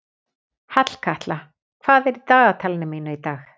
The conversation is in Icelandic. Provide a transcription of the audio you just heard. Hallkatla, hvað er í dagatalinu mínu í dag?